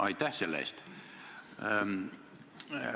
Aitäh selle eest!